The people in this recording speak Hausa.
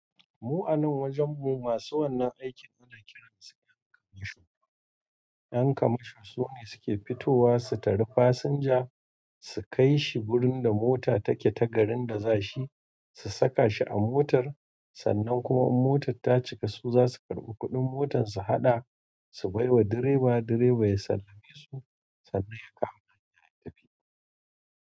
Mu a nan wajen mu masu wannan aikin ana kiransu ƴan kamasho. Ƴan kamasho sune suke fitowa su tari fasinja, su kai shi wurin da mota take ta garin da za shi, su saka shi a motar sannan kuma in motar ta cika su zasu karɓi kuɗin motar su haɗa, su bai wa direba direba ya sallame su, sannan ya kama hanya ya tafi.